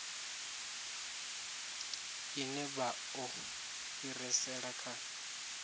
ine vha o fhirisela kha